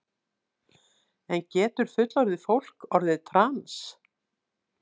En getur fullorðið fólk orðið trans?